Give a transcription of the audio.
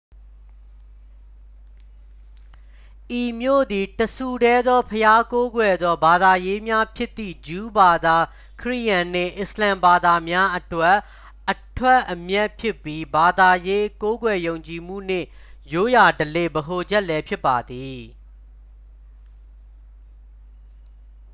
ဤမြို့သည် တစ်ဆူတည်းသောဘုရားကိုးကွယ်သော ဘာသာရေးများဖြစ်သည့် ဂျူးဘာသာ ခရစ်ယာန်နှင့် အစ္စလာမ်ဘာသာများအတွက် အထွက်အမြတ်ဖြစ်ပြီး ဘာသာရေး ကိုးကွယ်ယုံကြည်မှုနှင့် ရိုးရာဓလေ့ ဗဟိုချက်လည်း ဖြစ်ပါသည်